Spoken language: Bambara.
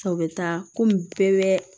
A bɛ taa komi bɛɛ